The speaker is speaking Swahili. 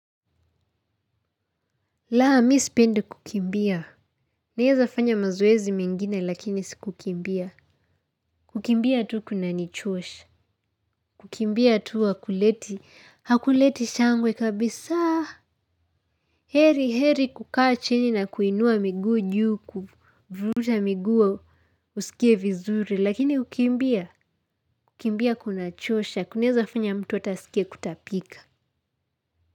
Laa mi sipendi kukimbia. Naeza fanya mazoezi mengine lakini si kukimbia. Kukimbia tu kunanichosha. Kukimbia tu hakuleti. Hakuleti shangwe kabisa. Heri heri kukaa chini na kuinua miguu juu. Vuruta miguu usikie vizuri lakini kukimbia. Kukimbia kunachosha. Kunaeza fanya mtu hata asikie kutapika.